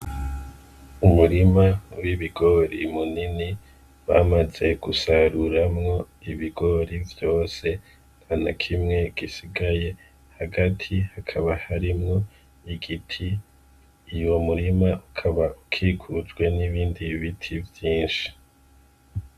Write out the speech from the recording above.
Umurima munini w' ibigori munini bamaze gusaruramwo ibigori vyose ntanakimwe gisigaye hagati hakaba harimwo igiti uwo murima ukaba ukikujwe n' ibindi biti vyinshi.